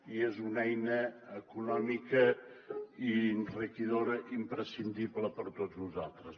i és una eina econòmica i enriquidora imprescindible per a tots nosaltres